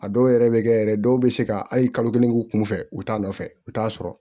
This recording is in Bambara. A dɔw yɛrɛ bɛ kɛ yɛrɛ dɔw bɛ se ka hali kalo kelen k'u kunfɛ u t'a nɔfɛ u t'a sɔrɔ